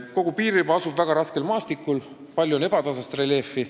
Kogu piiririba asub väga raskel maastikul, palju on ebatasast reljeefi.